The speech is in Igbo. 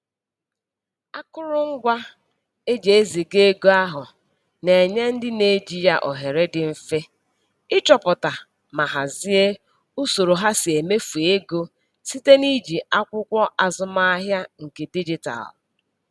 Akụrụngwa e ji eziga ego ahụ na-enye ndị na-eji ya ohere dị mfe ịchọpụta ma hazie usoro ha si emefu ego site n'iji akwụkwọ azụmahịa nke dijitalụ.